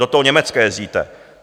Do toho Německa jezdíte.